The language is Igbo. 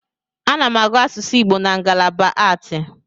Ana m agụ asusu Igbo na ngalaba aatị.